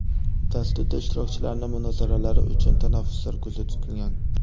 Dasturda ishtirokchilarning munozaralari uchun tanaffuslar ko‘zda tutilgan.